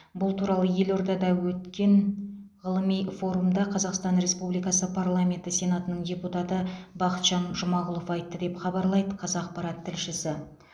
бұл туралы елордада өткен ғылыми форумда қазақстан республикасы парламенті сенатының депутаты бақытжан жұмағұлов айтты деп хабарлайды қазақпарат тілшісі